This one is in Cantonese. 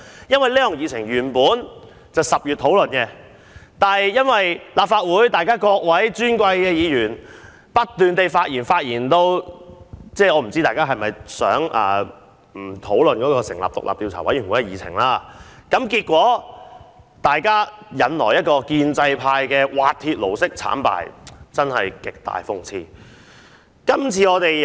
因為這項議程原本在10月討論，但因為立法會各位尊貴議員不斷發言，我不知道大家是否不想討論成立獨立調查委員會一事，結果引來建制派滑鐵盧式慘敗，真是極大諷刺。